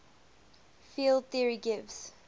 field theory gives